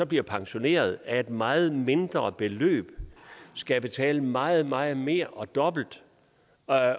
bliver pensioneret af et meget mindre beløb skal betale meget meget mere og dobbelt